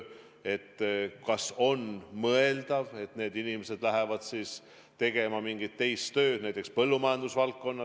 Ehk on mõeldav, et need inimesed lähevad tegema mingit teist tööd näiteks põllumajanduse valdkonnas.